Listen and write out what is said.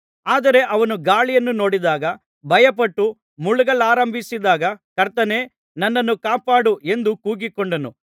ಆದರೆ ಅವನು ಗಾಳಿಯನ್ನು ನೋಡಿದಾಗ ಭಯಪಟ್ಟು ಮುಳುಗಲಾರಂಭಿಸಿದಾಗ ಕರ್ತನೇ ನನ್ನನ್ನು ಕಾಪಾಡು ಎಂದು ಕೂಗಿಕೊಂಡನು